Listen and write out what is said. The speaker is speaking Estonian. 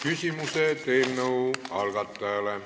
Küsimused eelnõu algatajale.